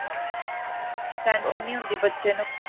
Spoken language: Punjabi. tension ਨੀ ਹੁੰਦੀ ਬੱਚੇ ਨੂੰ ਵੀ